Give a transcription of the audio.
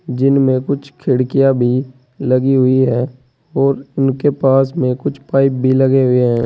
जिनमें कुछ खिड़कियां भी लगी हुई है और उनके पास में कुछ पाइप भी लगे हुए हैं।